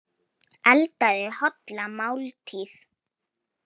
Eldaðu holla máltíð.